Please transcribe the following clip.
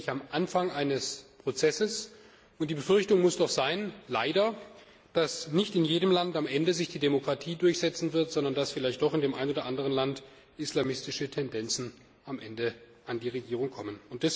Wir sind wirklich am Anfang eines Prozesses, und die Befürchtung muss doch leider sein, dass sich am Ende nicht in jedem Land die Demokratie durchsetzen wird, sondern dass vielleicht doch in dem ein oder anderen Land islamistische Tendenzen am Ende an die Regierung kommen.